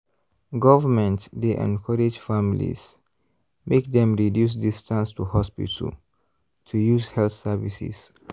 government dey encourage families make dem reduce distance to hospital to use health services.